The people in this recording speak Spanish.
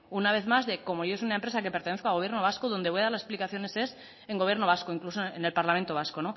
una vez más de como yo soy una empresa que pertenezco a gobierno vasco donde voy a dar las explicaciones es en gobierno vasco incluso en el parlamento vasco